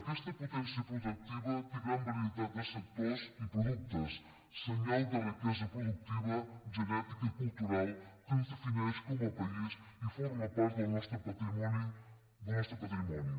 aquesta potència productiva té gran varietat de sectors i productes senyal de riquesa productiva genètica i cultural que ens defineix com a país i forma part del nostre patrimoni